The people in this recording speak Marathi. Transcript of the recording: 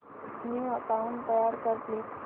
न्यू अकाऊंट तयार कर प्लीज